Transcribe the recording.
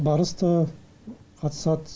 барыс та қатысады